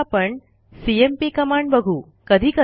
आता आपणcmp कमांड बघू